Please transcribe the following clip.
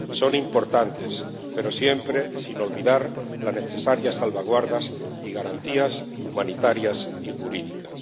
Son importantes, pero siempre sin olvidar las necesarias salvaguardas y garantías humanitarias y jurídicas.